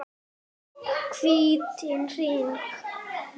Hvítan hring.